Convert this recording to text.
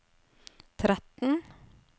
tretten